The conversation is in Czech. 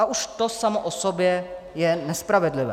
A už to samo o sobě je nespravedlivé.